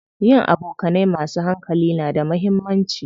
Yin abokanai masu hankali na da muhimmanci.